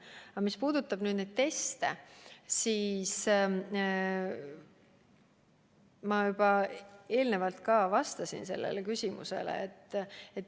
Aga mis puudutab neid teste, siis ma juba enne vastasin sellele küsimusele.